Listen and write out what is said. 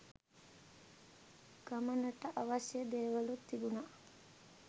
ගමනට අවශ්‍ය දේවලූත් තිබුණා.